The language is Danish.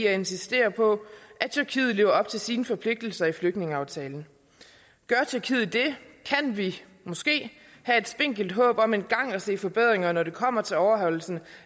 at insistere på at tyrkiet lever op til sine forpligtelser i flygtningeaftalen gør tyrkiet det kan vi måske have et spinkelt håb om engang at se forbedringer når det kommer til overholdelse